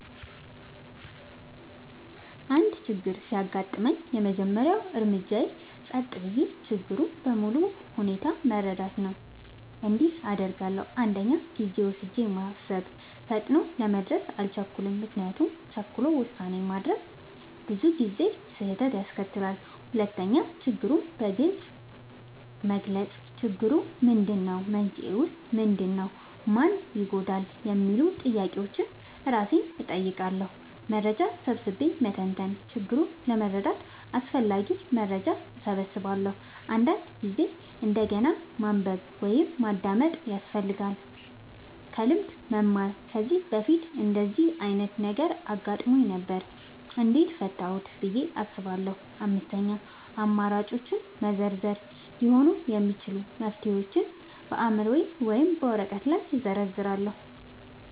አንድ ችግር ሲያጋጥመኝ፣ የመጀመሪያው እርምጃዬ ጸጥ ብዬ ችግሩን በሙሉ ሁኔታው መረዳት ነው። እንዲህ አደርጋለሁ፦ 1. ጊዜ ወስጄ ማሰብ – ፈጥኖ ለመድረስ አልቸኩልም፤ ምክንያቱም ቸኩሎ ውሳኔ ማድረግ ብዙ ጊዜ ስህተት ያስከትላል። 2. ችግሩን በግልጽ መግለጽ – "ችግሩ ምንድነው? መንስኤው ምንድነው? ማን ይጎዳል?" የሚሉ ጥያቄዎችን እራሴን እጠይቃለሁ። 3. መረጃ ሰብስቤ መተንተን – ችግሩን ለመረዳት አስፈላጊ መረጃ እሰበስባለሁ፤ አንዳንድ ጊዜ እንደገና ማንበብ ወይም ማዳመጥ ያስፈልጋል። 4. ከልምድ መማር – "ከዚህ በፊት እንደዚህ ዓይነት ነገር አጋጥሞኝ ነበር? እንዴት ፈታሁት?" ብዬ አስባለሁ። 5. አማራጮችን መዘርዘር – ሊሆኑ የሚችሉ መፍትሄዎችን በአእምሮዬ ወይም በወረቀት ላይ እዘርዝራለሁ።